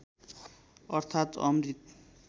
अर्थात् अमृत